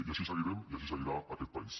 i així seguirem i així seguirà aquest país